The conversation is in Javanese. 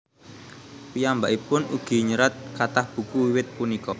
Piyambakipun ugi nyerat kathah buku wiwit punika